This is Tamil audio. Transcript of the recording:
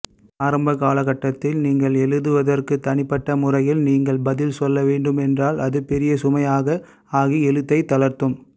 ஆரம்ப காலகட்டத்தில் நீங்கள் எழுதுவதற்கு தனிப்பட்ட முறையில் நீங்கள் பதில்சொல்லவேண்டும் என்றால் அது பெரிய சுமையாக ஆகி எழுத்தைத் தளர்த்தும்